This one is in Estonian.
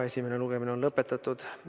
Esimene lugemine on lõpetatud.